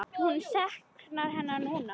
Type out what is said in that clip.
Hún saknar hennar núna.